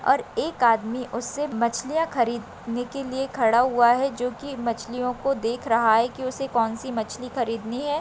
और एक आदमी उसे मछलियां खरीदने के लिए खड़ा हुआ है जो कि मछलियों को देख रहा है कि उसे कौन सी मछली खरीदनी है।